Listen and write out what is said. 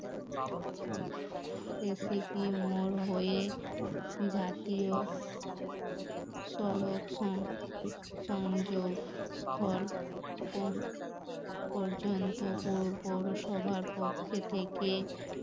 recipe মোর হয়ে জাতিও সড়ক সংযোক স্থল পর্যন্ত পৌরসভার পক্ষ থেকে